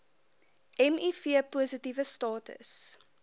miv positiewe status